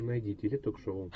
найди теле ток шоу